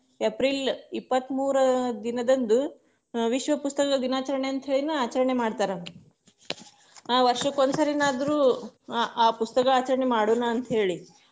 April ಇಪ್ಪತ್ತಮೂರು ದಿನದಂದು, ವಿಶ್ವ ಪುಸ್ತಕ ದಿನಾಚರಣೆ ಅಂತ ಹೇಳಿನ ಆಚರಣೆ ಮಾಡ್ತಾರ, ಆ ವರ್ಷಕ್ಕ ಒಂದ್ ಸರಿನಾದ್ರೂ ಆ ಆ ಪುಸ್ತಕ ಆಚರಣೆ ಮಾಡುನ ಅಂತ ಹೇಳಿ.